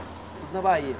Tudo na Bahia?